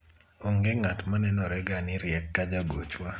onge ng'at ma nenore ga ni riek ka jagochwa